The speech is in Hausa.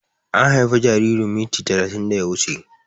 An haife jaririn minti talatin da ya wuche